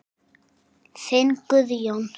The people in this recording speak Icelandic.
Þinn Guðjón.